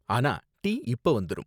ஆனா, டீ இப்ப வந்துரும்.